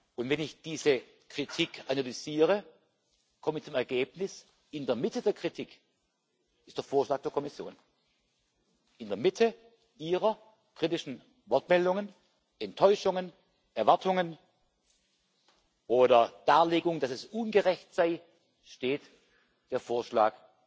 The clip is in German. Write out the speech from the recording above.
Und wenn ich diese Kritik analysiere, komme ich zu dem Ergebnis In der Mitte der Kritik ist der Vorschlag der Kommission, in der Mitte Ihrer kritischen Wortmeldungen, Enttäuschungen, Erwartungen oder Darlegungen, dass es ungerecht sei, steht der Vorschlag